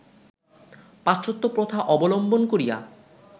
পাশ্চাত্ত্য প্রথা অবলম্বন করিয়া